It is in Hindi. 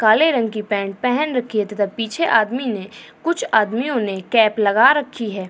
काले रंग की पेंट पेहन रखी है तथा पीछे आदमी ने कुछ आदमियों ने केप लगा रखी है।